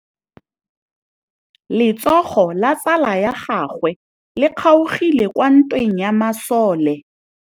Letsôgô la tsala ya gagwe le kgaogile kwa ntweng ya masole.